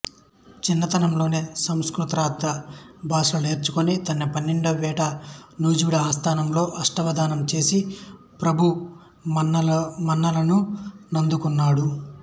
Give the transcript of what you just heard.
చిన్నతనంలోనే సంస్కృతాంధ్ర భాషలు నేర్చుకొని తన పన్నెండవ ఏట నూజివీడు సంస్థానంలో అష్టావధానం చేసి ప్రభువు మన్ననలనందుకున్నాడు